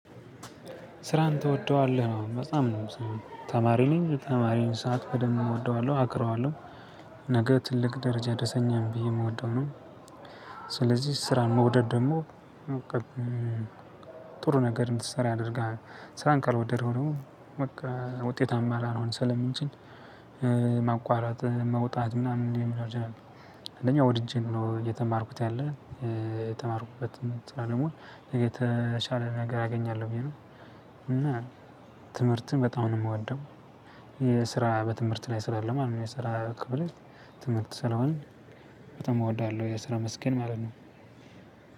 ስራህን ትወደዋለህ ነው በጣም ነው ተማሪ ነኝ ተማሪን ሰዓት በደንብ እወደዋለሁ አከብረዋለሁ ነገ ትልቅ ደረጃ ያደረሰኛም ብዬ የምወደው ነው። ስለዚህ ስራን መውደድ ደግሞ በቃ ጥሩ ነገር እንድትሰራ ያደርጋል። ስራን ካልወደደው ደግሞ ውጤታማ ላልሆን ስለምችል። ማቋረጥ መውጣት ምናምን የሚኖር ጀነራል አንደኛ ወድጄ ነው እየተማርኩት ያለን የተማርኩበት ደግሞ የተሻለ ነገር አገኛለሁ ብዬ ነው። እና ትምህርትን በጣም ነው የምወደው። የስራ በትምህርት ላይ ስላለ አሁን የሰራ ክብር ትምህርት ስለሆነ በጣም እወዳለሁ የሰራ መስኬን ማለት ነው።